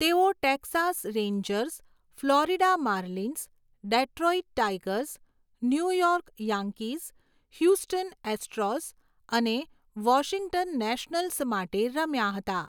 તેઓ Texas Rangers, Florida Marlins, Detroit Tigers, New York Yankees, Houston Astros અને Washington Nationals માટે રમ્યા હતા.